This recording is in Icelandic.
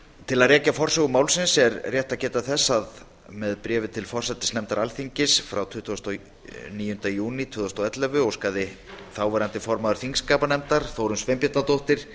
til að rekja forsögu málsins er rétt að geta þess að með bréfi til forsætisnefndar alþingis frá tuttugasta og níunda júní tvö þúsund og ellefu óskaði þórunn sveinbjarnardóttir þáverandi formaður þingskapanefndar